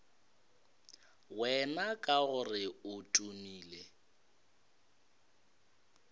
wena ka gore o tumile